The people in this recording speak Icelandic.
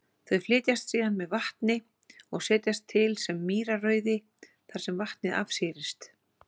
Þau flytjast síðan með vatni og setjast til sem mýrarauði þar sem vatnið afsýrist.